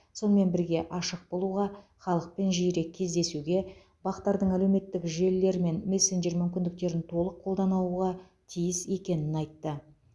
сонымен бірге ашық болуға халықпен жиірек кездесуге бақ тардың әлеуметтік желілер мен мессенджер мүмкіндіктерін толық қолданауға тиіс екенін айтты